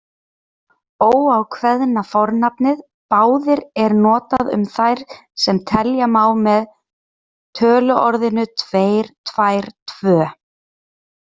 Óákveðna fornafnið báðir er notað um það sem telja má með töluorðinu tveir, tvær, tvö.